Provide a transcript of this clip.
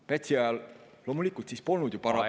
Pätsi ajal loomulikult polnud ju parlamenti …